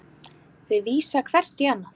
Þau vísa hvert í annað.